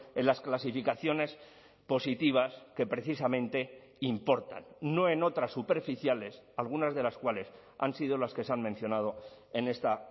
en las clasificaciones positivas que precisamente importan no en otras superficiales algunas de las cuales han sido las que se han mencionado en esta